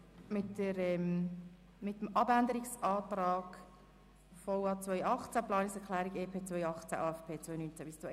Wir beginnen mit dem Abänderungsantrag beziehungsweise der Planungserklärung 2 Guggisberg.